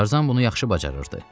Tarzan bunu yaxşı bacarırdı.